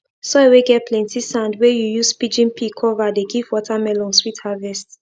soil whey get plenty sand whey you use pigeon pea cover dey give watermelon sweet harvest